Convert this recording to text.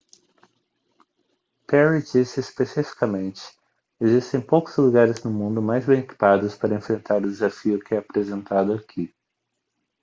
perry disse especificamente existem poucos lugares no mundo mais bem equipados para enfrentar o desafio que é apresentado aqui